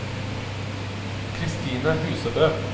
Kristine Husebø